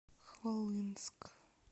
хвалынск